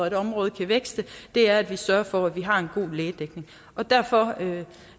et område kan vækste er at vi sørger for at vi har en god lægedækning derfor